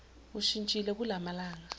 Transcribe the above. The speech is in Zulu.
ushintshile kula malanga